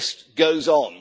The list goes on.